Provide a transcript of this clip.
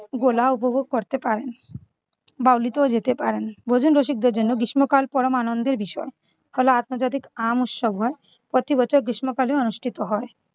গোলা উপভোগ করতে পারেন। বাউলিতেও যেতে পারেন। ভোজন রসিকদের জন্য গ্রীষ্মকাল পরম আনন্দের বিষয়। কারন আন্তর্জাতিক আম উৎসব হয়। প্রতিবছর গ্রীষ্মকালে অনুষ্ঠিত হয়।